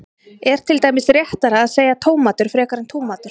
er til dæmis réttara að segja tómatur frekar en túmatur